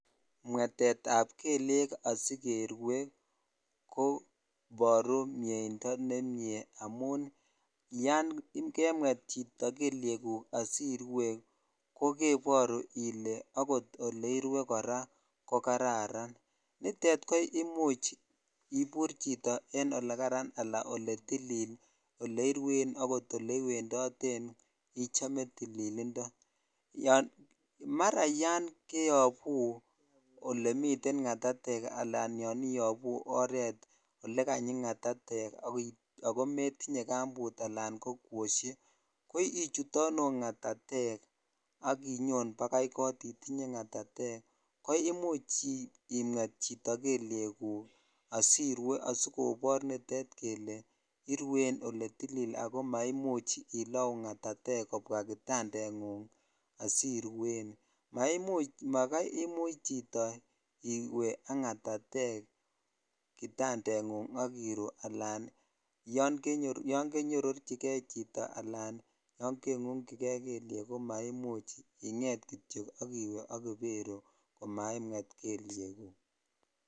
Mwetetab kelyek asikerue koboru mieindon nemie amun yoon kemwet chito kelyekuk asirwe ko keboru ilee okot elerwe kora ko kararan, nitet ko imuch ibur chito en olekaran alaa oletilil oleirwen okot oleiwendoten ichome tililindo, yoon mara yoon keyobu olemiten ng'atatek alaan yoon iyobu oreet olekanyi ng'atatek ak ko metinye kambut alaan ko kwoshek ko ichutonu ng'atatek ak inyon bakai koot itinye ngatatek ko imuch imwet chito kelyekuk asirwe asikobor nitet kelee irwen eletilil ak ko maimuch ilouu ng'atatek kobwa kitandeng'ung asiruen, maimuch makai imuch chito iwee ak ng'atatek ak iruu alaan yoon kenyororchike chito alaan yoon kengungyike kelyek ko maimuch ing'et kityo ak iwee ak iberu komaa imwet kelyekuk.